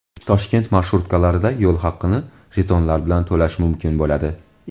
Toshkent marshrutkalarida yo‘l haqini jetonlar bilan to‘lash mumkin bo‘ladi.